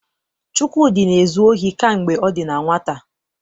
Chukwudi na-ezu ohi kamgbe ọ dị na nwata.